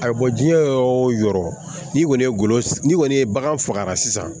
Ayiwa diɲɛ yɔrɔ o yɔrɔ n'i kɔni ye golo n'i kɔni ye bagan faga sisan